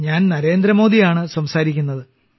ഞാൻ നരേന്ദ്ര മോദിയാണ് സംസാരിക്കുന്നത്